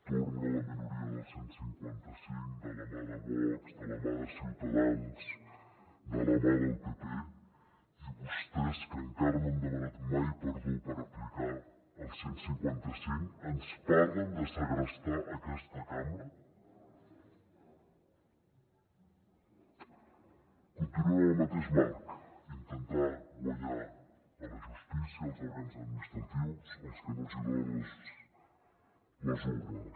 torna la minoria del cent i cinquanta cinc de la mà de vox de la mà de ciutadans de la mà del pp i vostès que encara no han demanat mai perdó per aplicar el cent i cinquanta cinc ens parlen de segrestar aquesta cambra continuen en el mateix marc intentar guanyar a la justícia als òrgans administratius el que no els hi donen les urnes